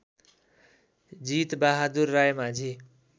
Jit Bahadur Raimajhi